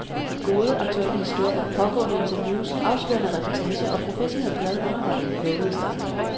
Gode, aktuelle historier, pågående interviews, afslørende reportager og professionel, glad underholdning, lovedes der.